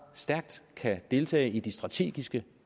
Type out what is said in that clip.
stærkt kan deltage i de strategiske